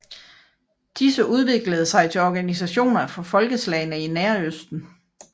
Disse udviklede sig til organisationer for folkeslagene i Nærøsten